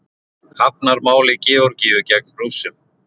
Hafnar máli Georgíu gegn Rússum